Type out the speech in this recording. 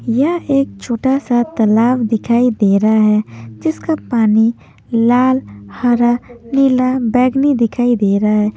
यह एक छोटा सा तालाब दिखाई दे रहा है जिसका पानी लाल हरा नीला बैगनी दिखाई दे रहा है।